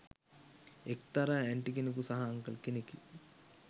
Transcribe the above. එක්‌තරා ඇන්ටි කෙනකු සහ අන්කල් කෙනෙකි